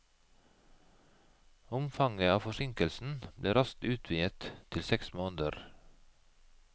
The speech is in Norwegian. Omfanget av forsinkelsen ble raskt utvidet til seks måneder.